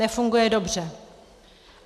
Nefunguje dobře.